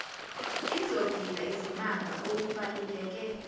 izogila izimanga okubaluleke